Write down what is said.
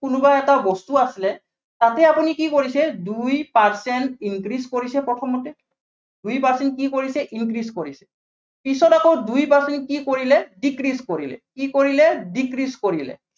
কোনোবা এটা বস্তু আছিলে, তাতে আপুনি কি কৰিছে, দুই percent increase কৰিছে প্ৰথমতে দুই percent কি কৰিছে, increase কৰিছে, পিছত আকৌ দুই percent কি কৰিলে decrease কৰিলে। কি কৰিলে decrease কৰিলে।